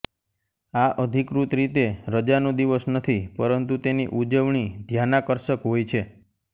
આ અધિકૃત રીતે રજાનો દિવસ નથી પરંતુ તેની ઉજવણી ધ્યાનાકર્ષક હોય છે